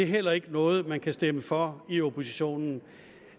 heller ikke er noget man kan stemme for i oppositionen